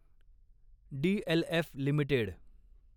DLF limited